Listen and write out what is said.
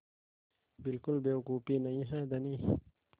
बिल्कुल बेवकूफ़ी नहीं है धनी